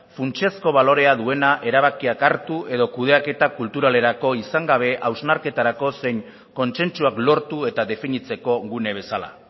funtsezko balorea duena erabakiak hartu edo kudeaketa kulturalerako izan gabe hausnarketarako zein kontsentsuak lortu eta definitzeko gune bezala